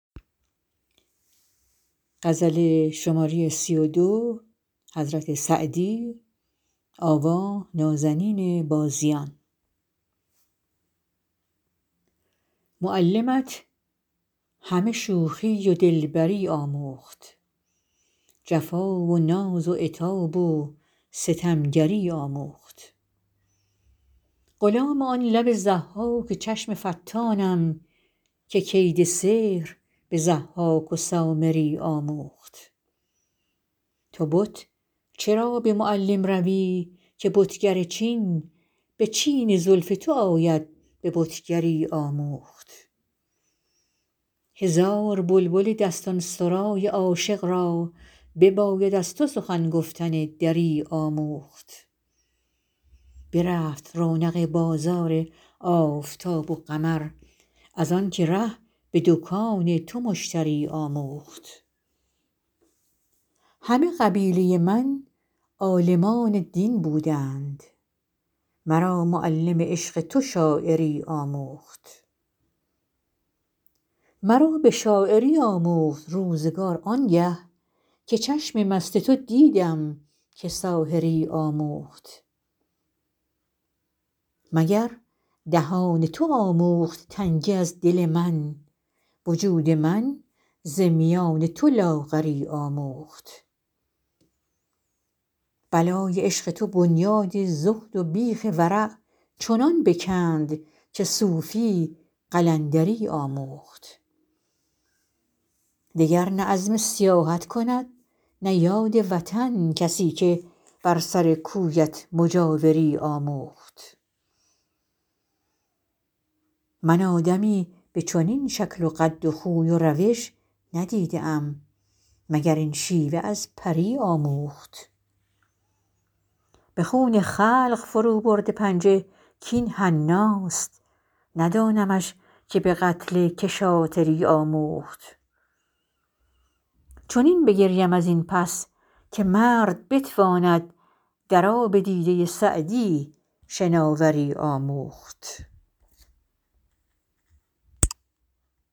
معلمت همه شوخی و دلبری آموخت جفا و ناز و عتاب و ستمگری آموخت غلام آن لب ضحاک و چشم فتانم که کید سحر به ضحاک و سامری آموخت تو بت چرا به معلم روی که بتگر چین به چین زلف تو آید به بتگری آموخت هزار بلبل دستان سرای عاشق را بباید از تو سخن گفتن دری آموخت برفت رونق بازار آفتاب و قمر از آن که ره به دکان تو مشتری آموخت همه قبیله من عالمان دین بودند مرا معلم عشق تو شاعری آموخت مرا به شاعری آموخت روزگار آن گه که چشم مست تو دیدم که ساحری آموخت مگر دهان تو آموخت تنگی از دل من وجود من ز میان تو لاغری آموخت بلای عشق تو بنیاد زهد و بیخ ورع چنان بکند که صوفی قلندری آموخت دگر نه عزم سیاحت کند نه یاد وطن کسی که بر سر کویت مجاوری آموخت من آدمی به چنین شکل و قد و خوی و روش ندیده ام مگر این شیوه از پری آموخت به خون خلق فروبرده پنجه کاین حناست ندانمش که به قتل که شاطری آموخت چنین بگریم از این پس که مرد بتواند در آب دیده سعدی شناوری آموخت